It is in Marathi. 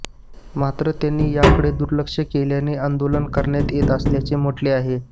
मात्र त्यांनी याकडे दुर्लक्ष केल्याने आंदोलन करण्यात येत असल्याचे म्हंटले आहे